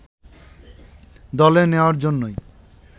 দলে নেয়ার জন্যই